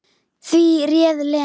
Því réð Lena.